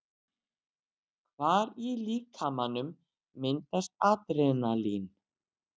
Hvar í líkamanum myndast Adrenalín?